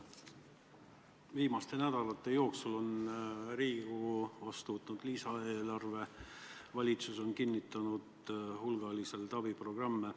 Viimaste nädalate jooksul on Riigikogu võtnud vastu lisaeelarve ja valitsus on kinnitanud hulgaliselt abiprogramme.